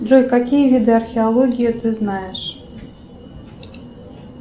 джой какие виды археологии ты знаешь